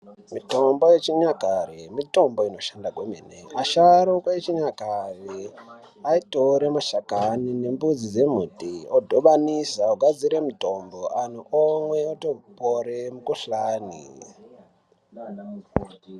Mitombo yechinyakare mitombo inoshanda kwemene. Asharukwa echinyakare aitore mashakani nembudzi dzemuti odhibanisa ogadzire mutombo. Anhu omwa otopore mikuhlani.